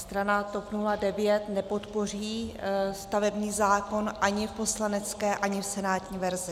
Strana TOP 09 nepodpoří stavební zákon ani v poslanecké, ani v senátní verzi.